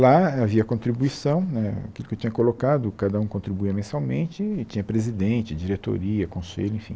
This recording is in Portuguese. Lá havia contribuição né, aquilo que eu tinha colocado, cada um contribuía mensalmente, e tinha presidente, diretoria, conselho, enfim.